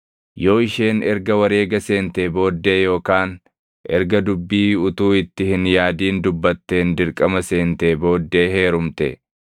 “Yoo isheen erga wareega seentee booddee yookaan erga dubbii utuu itti hin yaadin dubbatteen dirqama seentee booddee heerumte,